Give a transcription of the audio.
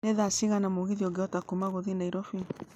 nĩ thaa cigana mũgithi ũngĩhota kuuma gũthiĩ nairobi